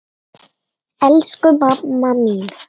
Elsku mamma mín!